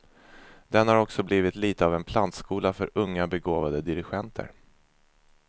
Den har också blivit lite av en plantskola för unga, begåvade dirigenter.